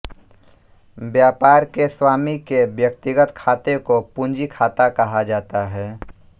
व्यापार के स्वामी के व्यक्तिगत खाते को पूंजी खाता कहा जाता है